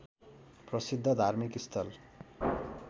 प्रसिद्ध धार्मिक स्थल